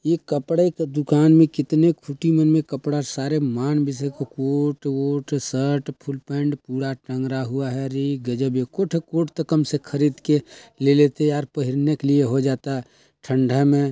यह कपड़े का दुकान में कितने खुटी में मन मे कपड़ा सारे मानवी से को कोट वोट शर्ट फुल पैंट पूरा टांगरा हुआ है रे गजबे एको ठोह त कोट कम से खरीद के ले लेते यार पहनने के लिए हो जाता ठण्डा में।